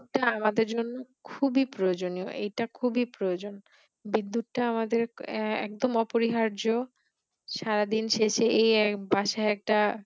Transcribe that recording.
এই টা আমাদের জন্য খুবি প্রয়োজনীয় এটা খুবি প্রয়োজন বিদ্যুৎটা আমাদের এ একদম অপরিহার্য সারা দিন শেষে এই এ বাসায় টা